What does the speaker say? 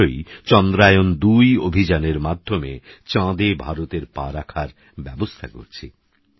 আমরাশীঘ্রইচন্দ্রায়ণ২অভিযানেরমাধ্যমেচাঁদেভারতেরপারাখারব্যবস্থাকরছি